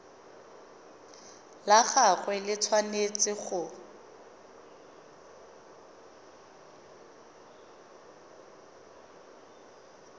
la gagwe le tshwanetse go